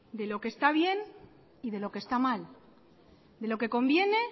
de lo que está bien y de lo que está mal de lo que conviene